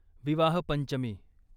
विवाह पंचमी